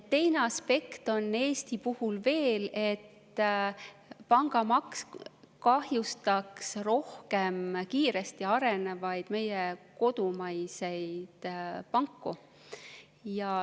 Teine aspekt on Eesti puhul veel, et pangamaks kahjustaks rohkem meie kodumaiseid, kiiresti arenevaid panku.